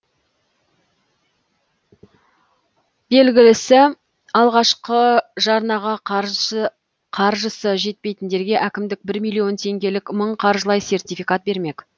белгілісі алғашқы жарнаға қаржысы жетпейтіндерге әкімдік бір миллион теңгелік мың қаржылай сертификат бермек